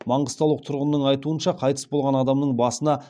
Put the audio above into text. маңғыстаулық тұрғынның айтуынша қайтыс болған адамның басына